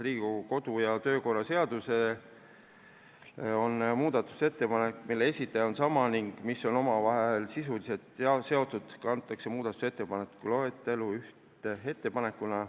Riigikogu kodu- ja töökorra seaduse kohaselt on nii, et kui mõnede muudatusettepanekute esitaja on sama ning need on omavahel sisuliselt seotud, siis kantakse need muudatusettepanekute loetellu ühe ettepanekuna.